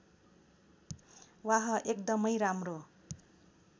वाह एकदमै राम्रो